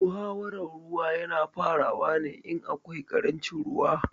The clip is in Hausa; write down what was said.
Muhawaran ruwa ya na farawa ne in akwai ƙarancin ruwa